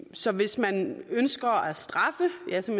så hvis man ønsker at straffe ja så